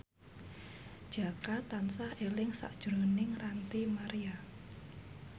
Jaka tansah eling sakjroning Ranty Maria